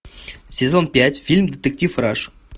сезон пять фильм детектив раш